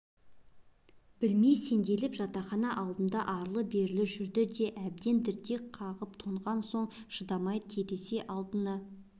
білмей сенделіп жатақхана алдында арлы-берлі жүрді де әбден дірдек қағып тоңған соң шыдамай терезе алдына